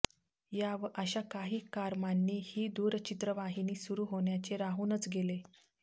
या व अशा काही कारमांनी ही दूरचित्रवाहिनी सुरू होण्याचे राहूनच गेले